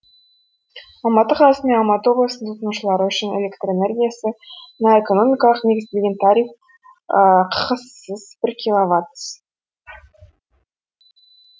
алматы қаласы мен алматы облысының тұтынушылары үшін электр энергиясына экономикалық негізделген тариф ққс сыз бір киловаттс